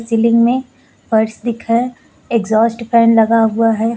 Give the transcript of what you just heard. Ceiling मे फर्श दिख रहा है एग्जॉस्ट फैन लगा हुआ है।